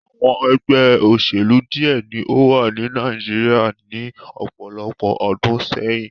Awọn ẹgbẹ oṣelu diẹ ni o wa ni Nàìjíríà ni ọpọlọpọ ọdun sẹyin